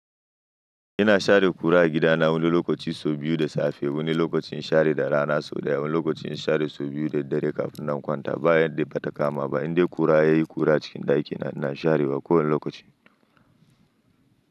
Ina share kura a gidana wani lokaci sau biyu da safe, wani lokacin share da rana sau ɗaya, wani lokacin share sau biyu da dare kafin na kwanta. Ba inda bata kama ba, inda kura yayi kura cikin ɗakina ina sharewa ko wani lokaci.